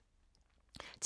TV 2